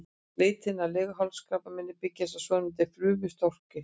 Leitin að leghálskrabbameini byggist á svonefndu frumustroki.